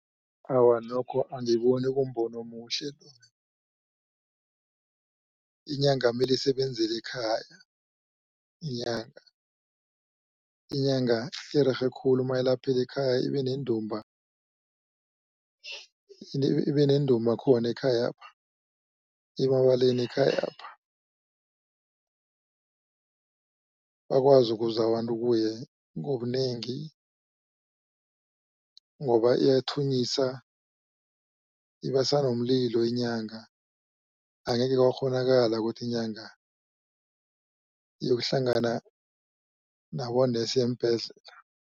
Awa, nokho angiboni kumbono omuhle mina inyanga mele isebenzele ekhaya inyanga. Inyanga irerhe khulu mayilaphela ekhaya ibentumba ibenentumba khona ekhayapha ibabalele ekhayapha bakwazi ukuza abantu kuye ngobunengi. Ngoba iyathunyisa ibasa nomlilo inyanga angekhe kwakghonakala ukuthi inyanga iyokuhlangana nabonesi eembhedlela.